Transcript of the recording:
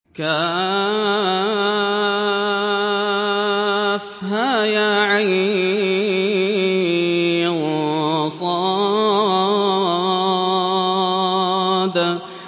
كهيعص